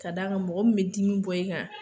Ka d'a kan mɔgɔ min me dimi bɔ i kan